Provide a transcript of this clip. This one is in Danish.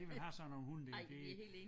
De vil have sådan nogle hunde der det